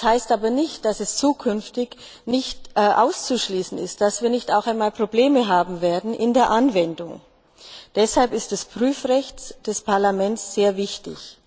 Das heißt aber nicht, dass es zukünftig auszuschließen ist, dass wir nicht auch einmal Probleme bei der Anwendung haben werden. Deshalb ist das Prüfrecht des Parlaments sehr wichtig.